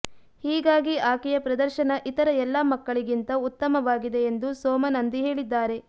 ಹೀಗಾಗಿ ಆಕೆಯ ಪ್ರದರ್ಶನ ಇತರ ಎಲ್ಲ ಮಕ್ಕಳಿಗಿಂತ ಉತ್ತಮವಾಗಿದೆ ಎಂದು ಸೋಮ ನಂದಿ ಹೇಳಿದ್ದಾರೆ